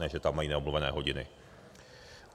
Ne že tam mají neomluvené hodiny.